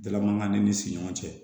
Dala mankan ni siɲɔgɔn cɛ